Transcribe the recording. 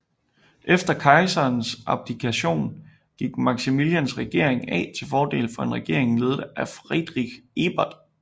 Efter kejserens abdikation gik Maximilians regering af til fordel for en regering ledet af Friedrich Ebert